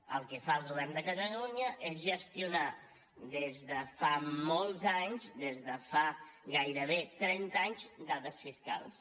el que fa el govern de catalunya és gestionar des de fa molts anys des de fa gairebé trenta anys dades fiscals